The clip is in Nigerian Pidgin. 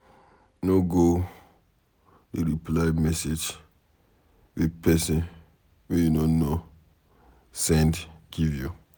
No go dey reply message wey pesin wey you no know send give you.